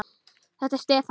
Þetta er Stefán.